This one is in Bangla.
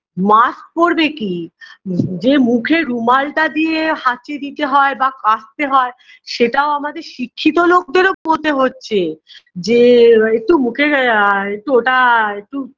mask পড়বে কি নিজের মুখে রুমালটা দিয়ে হাঁচি দিতে হয় বা কাশতে হয় সেটাও আমাদের শিক্ষিত লোকদেরও হচ্ছে যে একটু মুখের আ ওটা একটু